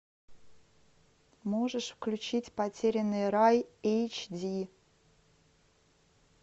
можешь включить потерянный рай эйч ди